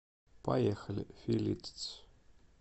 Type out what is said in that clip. поехали филитцъ